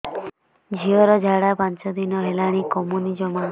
ଝିଅର ଝାଡା ପାଞ୍ଚ ଦିନ ହେଲାଣି କମୁନି ଜମା